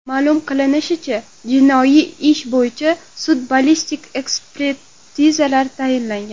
Ma’lum qilinishicha, jinoiy ish bo‘yicha sud-ballistik ekspertizalar tayinlangan.